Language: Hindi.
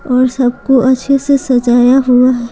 और सबको अच्छे से सजाया हुआ है।